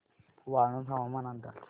वाळूंज हवामान अंदाज